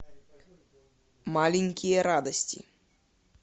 маленькие радости